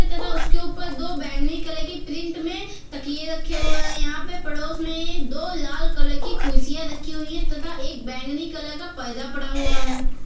तथा उसके ऊपर दो बैंगनी कलर की प्रिंट में तकिये रखे हुए हैं यहाँ पे पड़ोस में दो लाल कलर की कुर्सियां रखी हुई है तथा एक बैंगनी कलर का पर्दा पड़ा हुआ है।